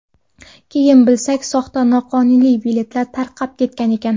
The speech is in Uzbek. Keyin bilsak, soxta, noqonuniy biletlar tarqab ketgan ekan.